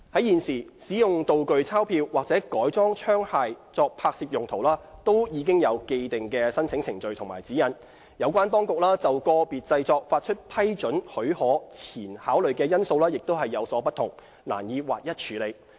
現時，使用道具鈔票或改裝槍械作拍攝用途均已有既定的申請程序及指引，有關當局就個別製作發出批准許可前考慮的因素亦有所不同，難以劃一處理。